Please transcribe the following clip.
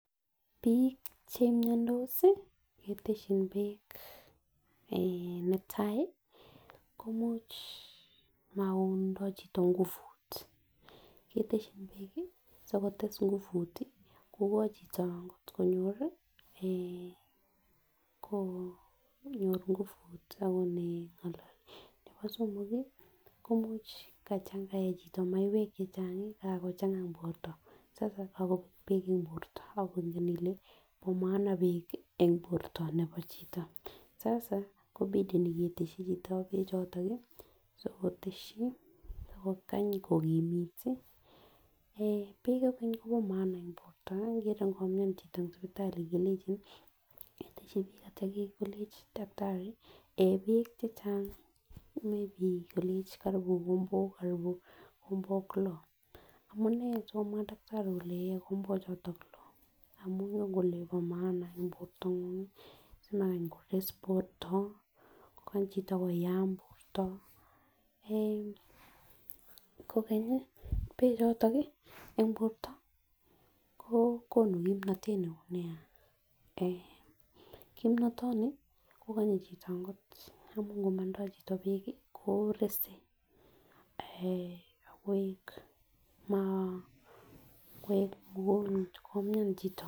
Bi chemiondos sii keteshin beek eeh netai komuch mokotindo chito nguvut keteshin beek sikotes nguvut tii kokoin chito konyori konyor nguvut tii akot nengololi. Nebo somok kii ko much kayee chito maiwek chechangi Kakochanga en borto sasa komobek beek en borto ako nengen ile bo maana beek en borto nebo chito sasa kopideni keteshi chito beek choton nii sikoteshi ak kokany kokimit tii. Eeh beek any Kobo maana en borto ikere nkomian chito en sipitali kelenjin keteshi beek ak ityo kilenji takitari yee beek chechang may be kole koribun kombok karibu kombok loo amunee sikomwaa takitari kole yee kombok choton loo amun ingen kole bo maana en bortangung simakany kores borto kokany chito koyam borto, eeh kokenyi bechoton en borto ko konu kimnotet neo nia en kimnotet kokonye chito kot amun ngo motindo chito beek ko rese eeh akoik maa koik mikonj komian chito.